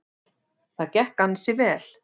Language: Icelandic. Það gekk ansi vel.